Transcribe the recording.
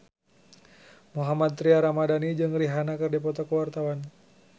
Mohammad Tria Ramadhani jeung Rihanna keur dipoto ku wartawan